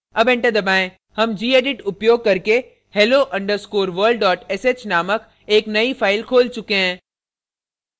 अब enter दबाएं हम gedit उपयोग करके hello _ world sh named एक नयी file खोल चुके हैं